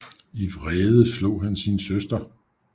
I vrede slog han sin søster